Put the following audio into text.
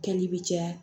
Kɛli bɛ caya